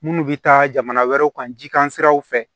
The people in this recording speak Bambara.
Munnu bɛ taa jamana wɛrɛw kan jikan siraw fɛ